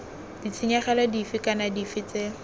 ditshenyegelo dife kana dife tse